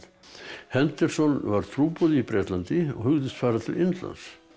henderson var trúboði í Bretlandi og hugðist fara til Indlands